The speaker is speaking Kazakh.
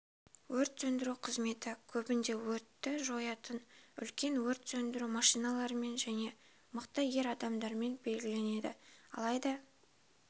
өрт сөндіру қызметі көбінде өртті жоятын үлкен өрт сөндіру машиналарымен және мықты ер адамдармен белгіленеді алайда